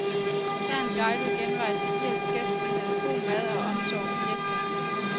Her er en guidet genvej til irsk gæstfrihed, god mad og omsorg med gæsterne.